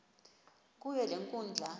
kuyo le nkundla